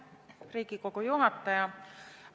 Riigikogu juhataja!